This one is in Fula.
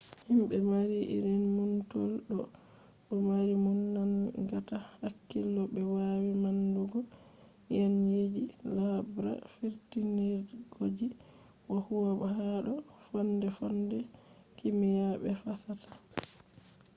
himbe mari irin numtol do dó mari numo nangata hakkilo be wawi manndugo nyenyeji laabra firtindirgooji bo huwa hado fonde-fonde kimiya be fasaha